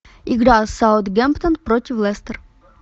игра саутгемптон против лестер